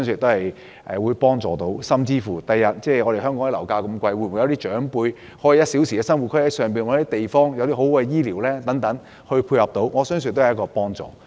香港的樓價這麼高，有些長輩可以利用這個 "1 小時生活圈"，在內地尋找居所，配合良好的醫療，我相信亦有幫助。